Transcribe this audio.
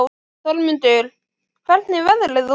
Þormundur, hvernig er veðrið úti?